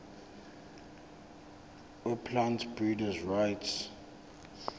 weplant breeders rights